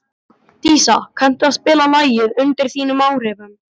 Dísa, kanntu að spila lagið „Undir þínum áhrifum“?